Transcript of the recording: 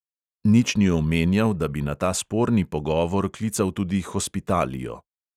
Nič ni omenjal, da bi na ta sporni pogovor klical tudi hospitalio.